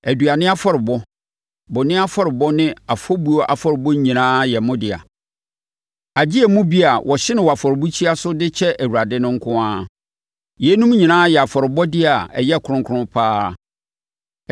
Aduane afɔrebɔ, bɔne afɔrebɔ ne afɔbuo afɔrebɔ nyinaa yɛ mo dea, agye emu bi a wɔhye no wɔ afɔrebukyia so de kyɛ Awurade no nko ara. Yeinom nyinaa yɛ afɔrebɔdeɛ a ɛyɛ kronkron pa ara.